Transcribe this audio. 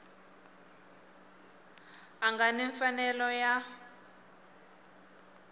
a nga ni mfanelo ya